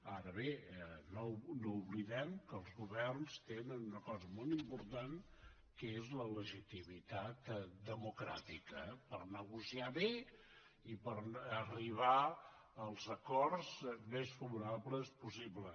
ara bé no oblidem que els governs tenen una cosa molt important que és la legitimitat democràtica per negociar bé i per arribar als acords més favorables possibles